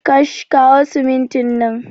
Kash, kawo siminti nan